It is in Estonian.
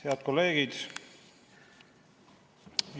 Head kolleegid!